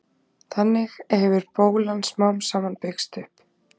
Þannig hefur bólan smám saman byggst upp.